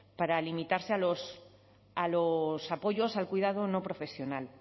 para limitarse a los apoyos al cuidado no profesional